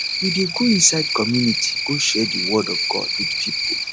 we dey go inside community go share di word of god wit pipo